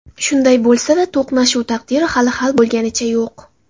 Shunday bo‘lsa-da, to‘qnashuv taqdiri hali hal bo‘lganicha yo‘q.